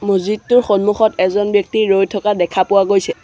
মহজিদটোৰ সন্মুখত এজন ব্যক্তি ৰৈ থকা দেখা পোৱা গৈছে।